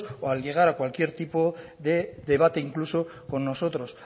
o llegar a cualquier tipo de debate incluso con nosotros